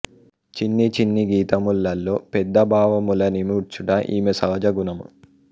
చిన్ని చిన్ని గీతములలో పెద్ద భావముల నిముడ్చుట ఈమె సహజ గుణము